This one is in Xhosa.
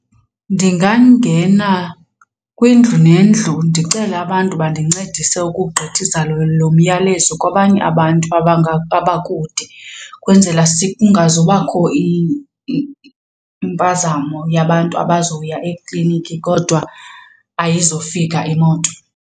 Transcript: Ndingangena kwindlu nendlu ndicele abantu bandincedise ukugqithisa lo myalezo kwabanye abantu abakude kwenzela kungazubakho impazamo yabantu abazoya ekliniki kodwa ayizofika imoto.